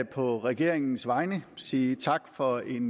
på regeringens vegne sige tak for en